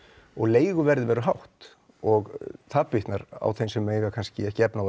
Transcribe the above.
og leiguverðið verður hátt og það bitnar á þeim sem eiga kannski ekki efni á